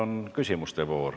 Nüüd on küsimuste voor.